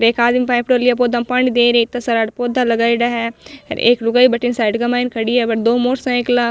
एक आदमी पाइपडो लिया पौधा पानी में दे रियो है इता सारा पौधा लगाईडा है एक लुगाई बठीने साइड के माय खड़ी है बट दो मोटर साईकला --